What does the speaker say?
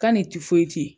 K'a ni